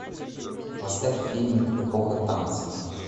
поставь фильмик эпоха танцев